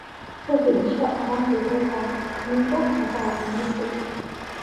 rekebisha orangi lo ntaa ningo meeta ormisil